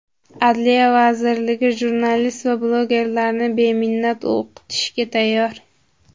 Adliya vazirligi jurnalist va blogerlarni beminnat o‘qitishga tayyor.